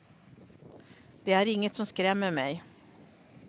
Det är inget som skrämmer mig.